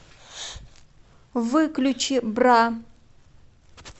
выключи бра